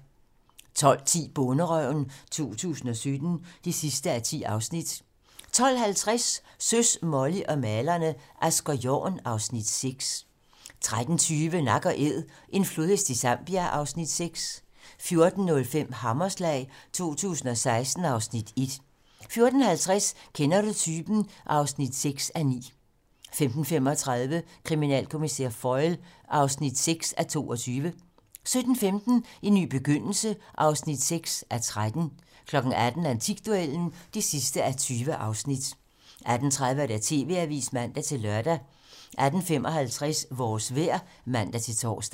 12:10: Bonderøven 2017 (10:10) 12:50: Søs, Molly og malerne - Asger Jorn (Afs. 6) 13:20: Nak & æd - en flodhest i Zambia (Afs. 6) 14:05: Hammerslag 2016 (Afs. 1) 14:50: Kender du typen? (6:9) 15:35: Kriminalkommissær Foyle (6:22) 17:15: En ny begyndelse (6:13) 18:00: Antikduellen (20:20) 18:30: TV-Avisen (man-lør) 18:55: Vores vejr (man-tor)